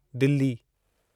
Delhi